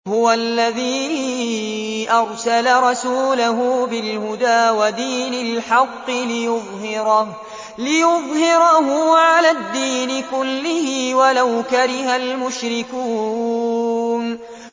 هُوَ الَّذِي أَرْسَلَ رَسُولَهُ بِالْهُدَىٰ وَدِينِ الْحَقِّ لِيُظْهِرَهُ عَلَى الدِّينِ كُلِّهِ وَلَوْ كَرِهَ الْمُشْرِكُونَ